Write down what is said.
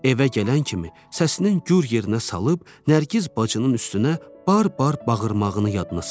Evə gələn kimi səsini gur yerinə salıb Nərgiz bacının üstünə bar-bar bağırmağını yadına saldı.